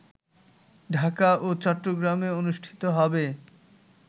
ঢাকা ও চট্টগ্রামে অনুষ্ঠিত হবে